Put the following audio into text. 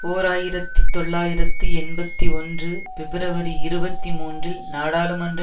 ஓர் ஆயிரத்தி தொள்ளாயிரத்தி எண்பத்தி ஒன்று பிப்ரவரி இருபத்தி மூன்றில் நாடாளுமன்ற